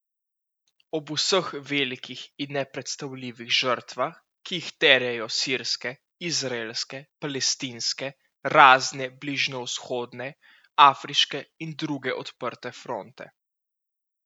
Ob vseh velikih in nepredstavljivih žrtvah, ki jih terjajo sirske, izraelske, palestinske, razne bližnjevzhodne, afriške in druge odprte fronte.